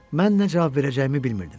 Mən nə cavab verəcəyimi bilmirdim.